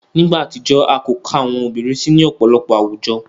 Ni igba atijọ, a ko ka awọn obirin si ni ọpọlọpọ awujo.